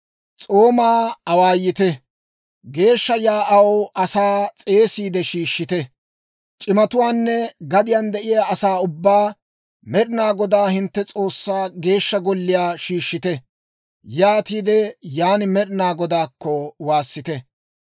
S'oomaa awaayite; geeshsha yaa'aw asaa s'eesiide shiishshite; c'imatuwaanne gadiyaan de'iyaa asaa ubbaa Med'inaa Godaa hintte S'oossaa Geeshsha Golliyaa shiishshite; yaatiide yan Med'inaa Godaakko waassite!